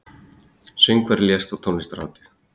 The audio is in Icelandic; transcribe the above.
Söngvari lést á tónlistarhátíð